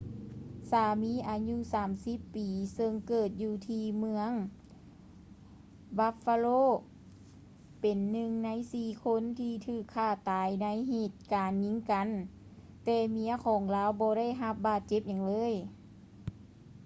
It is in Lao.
ສາມີອາຍຸ 30 ປີ ເຊິ່ງເກີດຢູ່ທີ່ເມືອງ buffalo ເປັນໜຶ່ງໃນສີ່ຄົນທີ່ຖືກຂ້າຕາຍໃນເຫດການຍິງກັນ ແຕ່ເມຍຂອງລາວບໍ່ໄດ້ຮັບບາດເຈັບຫຍັງເລີຍ